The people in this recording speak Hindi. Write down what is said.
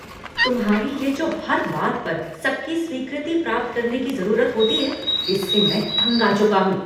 तुम्हारी ये जो हर बात पर सबकी स्वीकृति प्राप्त करने की जरूरत होती है, इससे मैं तंग आ चुका हूँ।